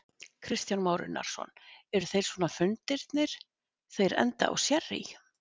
Kristján Már Unnarsson: Eru þeir svona fundirnir, þeir enda á sérrý?